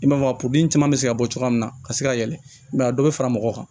I n'a fɔ caman bɛ se ka bɔ cogoya min na ka se ka yɛlɛ mɛ a dɔ bɛ fara mɔgɔ kan